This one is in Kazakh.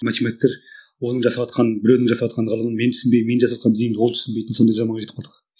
математиктер оның жасаватқан біреудің жасаватқан ғылымын мен түсінбеймін мен жасаватқан дүниені ол түсінбейді сондай заманға жетіп қалдық